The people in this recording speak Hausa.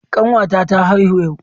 Kanwata ta haihu yau.